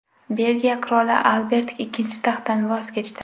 Belgiya qiroli Albert Ikkinchi taxtdan voz kechdi.